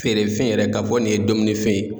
Feere fɛn yɛrɛ ka fɔ nin ye dominifɛn ye.